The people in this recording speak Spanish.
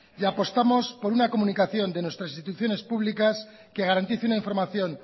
y apostamos de una comunicación de nuestras instituciones públicas que garantice una información